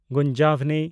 ᱜᱩᱱᱡᱟᱵᱷᱱᱤ